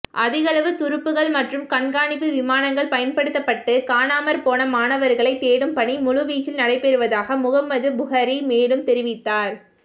அதிகளவு துருப்புக்கள் மற்றும் கண்காணிப்பு விமானங்கள் பயன்படுத்தப்பட்டு காணாமற்போன மாணவர்களை தேடும்பணி முழுவீச்சில் நடைபெறுவதாக முகம்மது புஹரி மேலும் தெரிவித்தார்